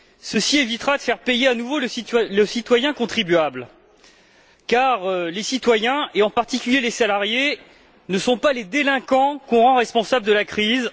Ceci évitera de faire payer à nouveau le citoyen contribuable, car les citoyens et en particulier les salariés, ne sont pas les délinquants que l'on rend responsables de la crise